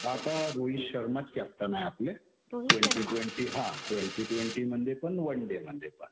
आता रोहित शर्माच कॅप्टन आहे आपले. ट्वेन्टी-ट्वेन्टी हा. ट्वेन्टी-ट्वेन्टी मध्ये पण, वन डे मध्ये पण.